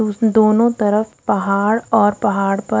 दोनो तरफ पहाड़ और पहाड़ पर--